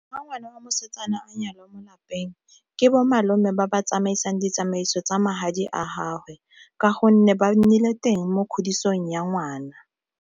Fa ngwana wa mosetsana a nyalwa mo lapeng, ke bo malome ba ba tsamaisang ditsamaiso tsa magadi a gagwe ka gonne ba nnile teng mo kgodisong ya ngwana.